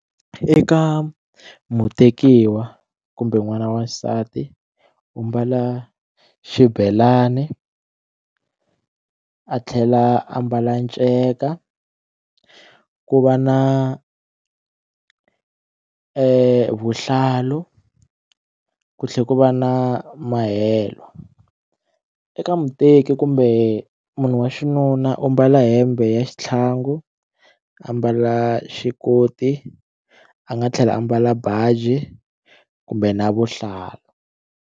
Eka mutekiwa kumbe n'wana wa xisati u mbala xibelani a tlhela a ambala nceka ku va na vuhlalu ku tlhela ku va na mahelo eka muteki kumbe munhu wa xinuna u mbala hembe ya xitlhangu a mbala xikoti a nga tlhela a mbala baji kumbe na vuhlalu.